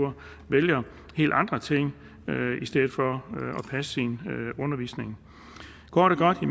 vælger helt andre ting i stedet for at passe sin undervisning kort og godt i